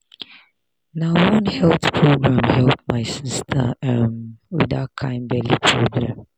na one health program help my sister um with that kind belly problem.